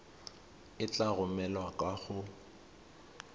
e tla romelwa kwa go